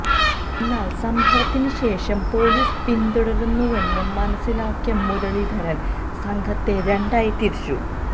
എന്നാല് സംഭവത്തിന് ശേഷം പൊലീസ് പിന്തുടരുന്നുവെന്ന് മനസിലാക്കിയ മുരളീധരന് സംഘത്തെ രണ്ടായി തിരിച്ചു